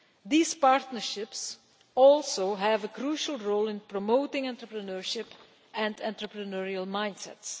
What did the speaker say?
These partnerships also have a crucial role in promoting entrepreneurship and entrepreneurial mindsets.